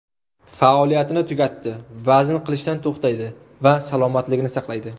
Faoliyatini tugatdi, vazn qilishdan to‘xtaydi va salomatligini saqlaydi.